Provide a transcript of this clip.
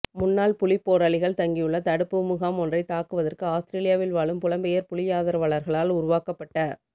முன்னாள் புலிப்போராளிகள் தங்கியுள்ள தடுப்பு முகாம் ஒன்றைத்தாக்குவதற்கு அவுஸ்திரேலியாவில் வாழும் புலம்பெயர் புலியாதரவாளர்களால் உருவாக்கப்பட்ட